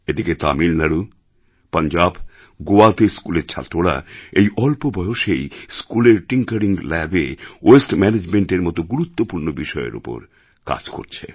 এদিকে তামিলনাড়ু পাঞ্জাব গোয়াতে স্কুলের ছাত্ররা এই অল্প বয়সেই স্কুলের টিংকারিং ল্যাবএ ওয়েস্ট ম্যানেজমেন্টের মত গুরুত্বপূর্ণ বিষয়ের ওপর কাজ করছে